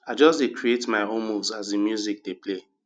i just dey create my own moves as di music dey play